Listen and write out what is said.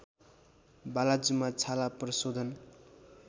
बालाजुमा छाला प्रशोधन